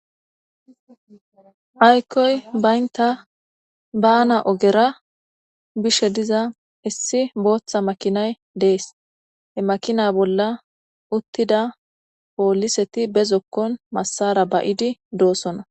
aykkoy baynta bana ogera bishe diza issi booththa makinay dees he makina bolla uttida pooliseti bezokkon massara ba7idi doosona